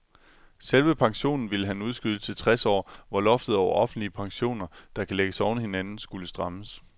Selve pensionen ville han udskyde til tres år, hvor loftet over offentlige pensioner, der kan lægges oven i hinanden, skulle strammes.